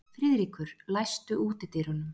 Friðríkur, læstu útidyrunum.